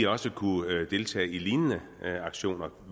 også kunne deltage i lignende aktioner